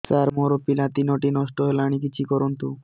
ସାର ମୋର ପିଲା ତିନିଟା ନଷ୍ଟ ହେଲାଣି କିଛି କରନ୍ତୁ